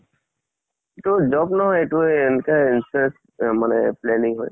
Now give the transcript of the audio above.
ইটো job নহয় ইটো এহ এনেকাই insurance মানে planning হয়।